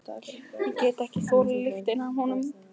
Ég get ekki þolað lyktina af honum.